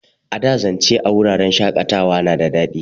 A da, zance a wuraren shakatawa na da daɗi.